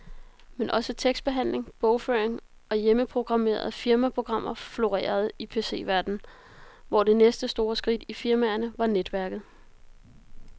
Men også tekstbehandling, bogføring og hjemmeprogrammerede firmaprogrammer florerede i PCverdenen, hvor det næste store skridt i firmaerne var netværket.